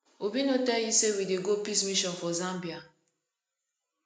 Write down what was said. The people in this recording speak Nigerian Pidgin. obi no tell you say we dey go peace mission for zambia